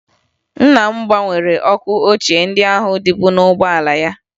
Nna m gbanwere ọkụ ochie ndị ahụ dịbu n'ụgbọala ya